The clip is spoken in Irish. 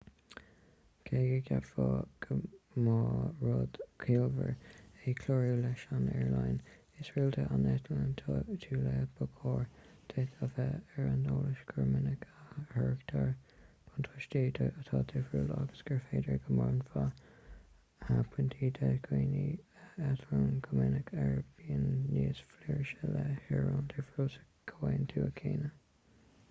cé go gceapfá go mba rud ciallmhar é clárú leis an aerlíne is rialta a n-eitlíonn tú léi ba chóir duit a bheith ar an eolas gur minic a thairgtear buntáistí atá difriúil agus gur féidir go mbronnfar pointí do dhaoine a eitlíonn go minic ar bhonn níos flúirse le haerlíne difriúil sa chomhaontas céanna